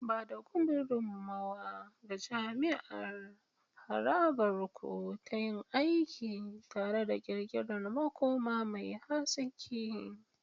Ba da gudummawa ga jama'ar harabar ku ta yin aiki tare don ƙirƙirar makoma mai haske.